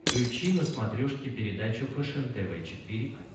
включи на смотрешке передачу фэшен тв четыре к